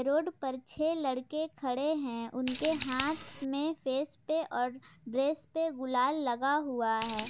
Road पर छह लड़के खड़े हैं उनके हाथ में फेस पे और ड्रेस पे गुलाल लगा हुआ है।